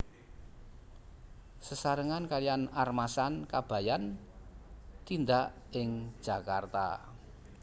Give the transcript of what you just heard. Sesarengan kaliyan Armasan Kabayan tindak ing Jakarta